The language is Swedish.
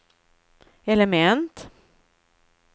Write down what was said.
element